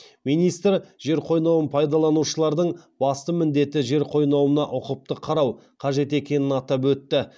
министр жер қойнауын пайдаланушылардың басты міндеті жер қойнауына ұқыпты қарау қажет екенін атап өтті